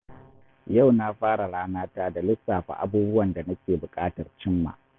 Yau na fara rana ta da lissafa abubuwan da nake buƙatar cimma.